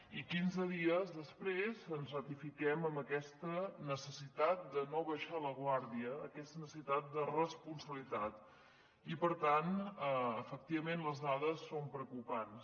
i quinze dies després ens ratifiquem amb aquesta necessitat de no abaixar la guàrdia aquesta necessitat de responsabilitat i per tant efectivament les dades són preocupants